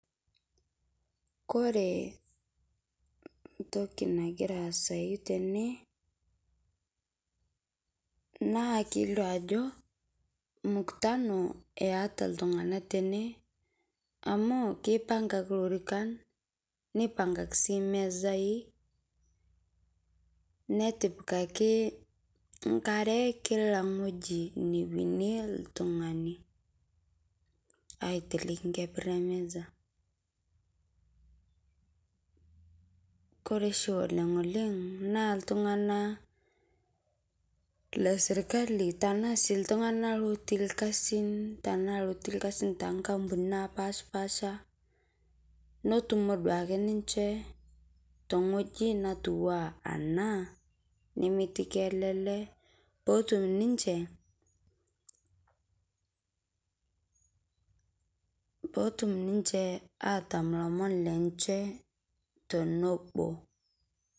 Kore entoki nagira aasayu tene, naa kelio ajo mukutana eata iltung'ana tene, amu keipang'aki sii ilorikan, neipang'aki sii aitoki imesai, netipikaki enkare, kia wueji nawuenie oltung'ani, aiteleki inkeper emesa. Kore oshi oleng' oleng' naa iltung'ana le sirkali, tanaa sii iltung'ana otii sii ilkasin, toonkampunini napashpasha, netumo duake ninche te wueji natiu anaa ena, nemetiki kelele otum ninche, peetum ninche atam ilomon lenche tenebo.